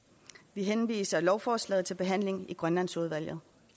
vi henviser lovforslaget til behandling i grønlandsudvalget